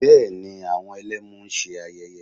Bẹ́ẹ̀ ni, àwọn Ẹlẹ́mu ń ṣe ayẹyé